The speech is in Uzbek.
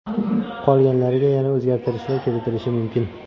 Qolganlariga yana o‘zgartirishlar kiritilishi mumkin.